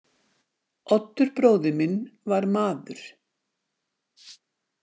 Oddur bróðir minn var maður.